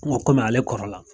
N go kɔmi ale kɔrɔ la